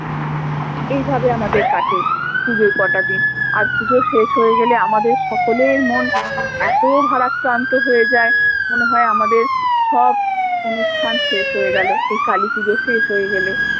এই ভাবে আমাদের কাটে পুজোর কটা দিন আর পুজো শেষ হয়ে গেলে আমাদের সকলের মন এতো ভারাক্রান্ত হয়ে যায় মনে হয় আমাদের সব অনুষ্ঠান শেষ হয়ে গেলো এই কালীপুজো শেষ হয়ে গেলে